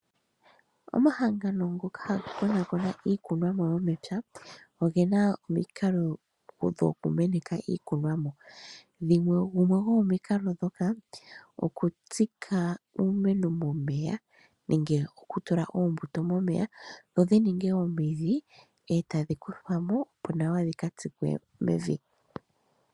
Omahangano ngoka haga konakona iikunomwa yomepya oge na omikalo dhokumeneka iikunomwa gumwe gwomomikalo ndhoka okutsika uumeno momeya nenge okutula oombuto momeya dho dhi ninge omidhi e tadhi kuthwamo opo nawa dhi ka tsikwe mevi.